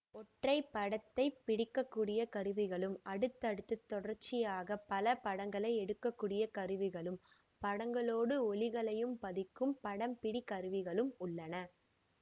ஒற்றை படத்தை பிடிக்க கூடிய கருவிகளும் அடுத்தடுத்துத் தொடர்ச்சியாகப் பல படங்களை எடுக்கக்கூடிய கருவிகளும் படங்களோடு ஒலிகளையும் பதிக்கும் படம்பிடிகருவிகளும் உள்ளன